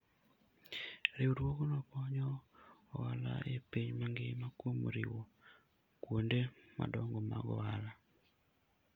Riwruogno konyo ohala e piny mangima kuom riwo kuonde madongo mag ohala.